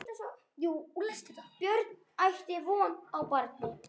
Björns, ætti von á barni.